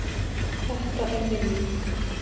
Þetta er minning.